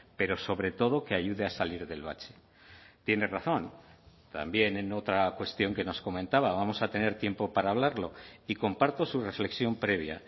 pero sobre todo que ayude a salir del bache tiene razón también en otra cuestión que nos comentaba vamos a tener tiempo para hablarlo y comparto su reflexión previa